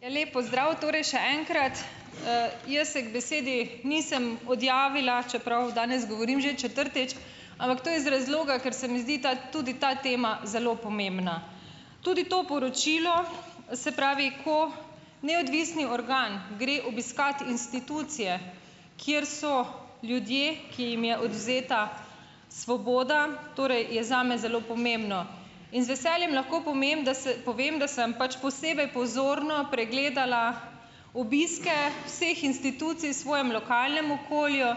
Ja, lep pozdrav torej še enkrat. jaz se k besedi nisem odjavila, čeprav danes govorim že četrtič, ampak to iz razloga, ker se mi zdi ta, tudi ta tema zelo pomembna. Tudi to poročilo, se pravi, ko neodvisni organ gre obiskat institucije, kjer so ljudje, ki jim je odvzeta svoboda, torej je zame zelo pomembno. In z veseljem lahko da se, povem, da sem pač posebej pozorno pregledala obiske vseh institucij svojem lokalnem okolju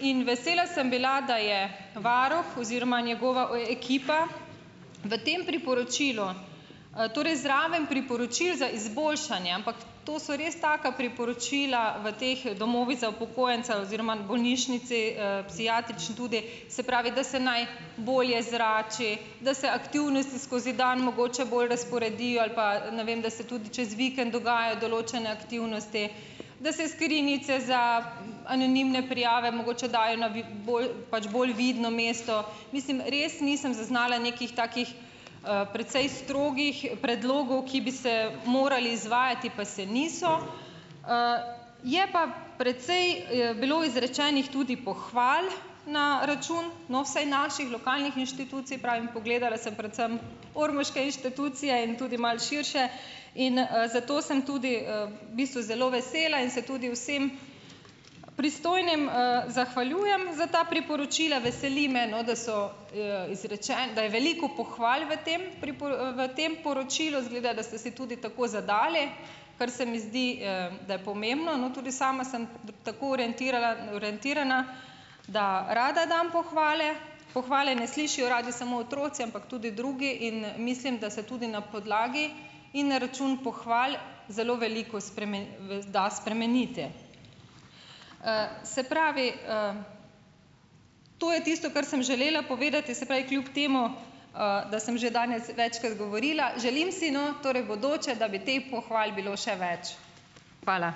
in vesela sem bila, da je varuh oziroma njegova ekipa v tem priporočilu, torej zraven priporočil za izboljšanje, ampak to so res taka priporočila v teh domovih za upokojence oziroma bolnišnici, psihiatrični tudi, se pravi, da se naj bolje zrači, da se aktivnosti skozi dan mogoče bolj razporedijo, ali pa, ne vem, da se tudi čez vikend dogajajo določene aktivnosti, da se skrinjice za anonimne prijave mogoče dajo na bolj, pač bolj vidno mesto. Mislim, res nisem zaznala nekih takih, precej strogih predlogov, ki bi se morali izvajati, pa se niso . je pa precej, bilo izrečenih tudi pohval na račun, no, vsaj naših lokalnih inštitucij, pravim, pogledala sem predvsem ormoške inštitucije in tudi malo širše in, zato sem tudi, v bistvu zelo vesela in se tudi vsem pristojnim, zahvaljujem za ta priporočila. Veseli me, no, da so, da je veliko pohval v tem v tem poročilu. Izgleda, da ste si tudi tako zadali kar se mi zdi, da je pomembno. No, tudi sama sem tako orientirana, da rada dam pohvale. Pohvale ne slišijo radi samo otroci, ampak tudi drugi, in mislim, da se tudi na podlagi in na račun pohval zelo veliko da spremenite. se pravi, to je tisto, kar sem želela povedati, se pravi kljub temu, da sem že danes večkrat govorila. Želim si, no, torej v bodoče, da bi teh pohval bilo še več. Hvala.